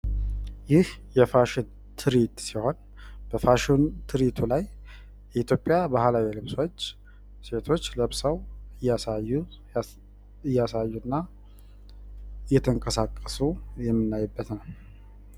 ይህ የፋሽን ትሪት ሲሆን በፋሽን ትሪቱ ላይ የኢትዮጵያ ባህላዊ ልብሶች ሴቶች ለብሰው እያሳዩ እያሳዩ እና እተንቀሳቀሱ የምናይበት ነው።